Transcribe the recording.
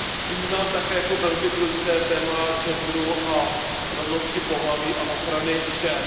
Vnímám také jako velmi důležité téma genderu a rovnosti pohlaví a ochrany žen.